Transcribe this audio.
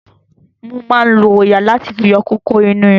Wọ́n máa lo òòyà láti fi yọ¸kókó inú irun.